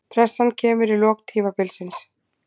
Pressan kemur í lok tímabils.